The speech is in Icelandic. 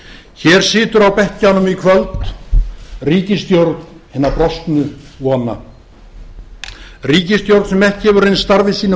hér situr á bekkjunum í kvöld ríkisstjórn brostinna vona ríkisstjórn sem ekki hefur reynst starfi sínu